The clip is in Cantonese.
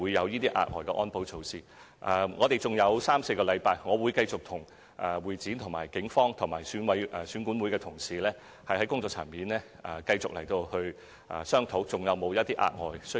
現在距離選舉還有三四個星期，我會繼續跟會展、警方和選管會的同事在工作層面商討，研究是否還要採取額外安保和保密措施。